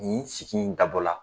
Nin sigi in dabɔ la